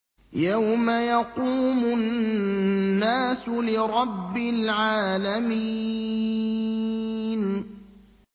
يَوْمَ يَقُومُ النَّاسُ لِرَبِّ الْعَالَمِينَ